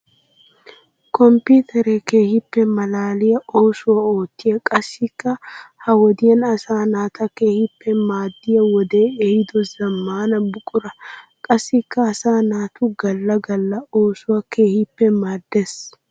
Komppiteere keehippe malaalliya oosuwa ootiya qassikka ha wodiyan asaa naata keehippe maadiya wode ehiido zamaana buqura. Qassikka asaa naatu gala gala oosuwawu keehippe maadees.